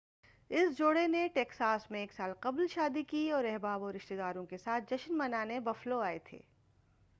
اس جوڑا نے ٹیکساس میں ایک سال قبل شادی کی اور احباب اور رشتے داروں کے ساتھ جشن منانے بفلو آئے تھے